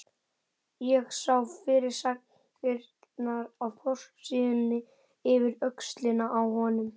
Ég sá fyrirsagnirnar á forsíðunni yfir öxlina á honum